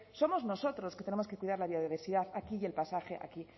somos nosotros los que tenemos que cuidar la biodiversidad aquí y el paisaje aquí